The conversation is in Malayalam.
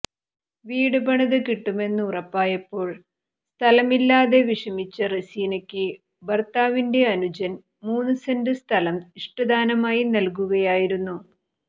വീട് പണിത് കിട്ടുമെന്ന് ഉറപ്പായപ്പോൾ സ്ഥലമില്ലാതെ വിഷമിച്ച റസീനയ്ക്ക് ഭർത്താവിന്റെ അനുജൻ മൂന്ന് സെന്റ് സ്ഥലം ഇഷ്ടദാനമായി നല്കുകയായിരുന്നു